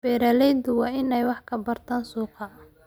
Beeraleydu waa inay wax ka bartaan suuqa.